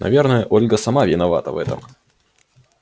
наверное ольга сама виновата в этом